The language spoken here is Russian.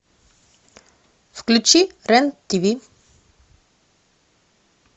включи рен тв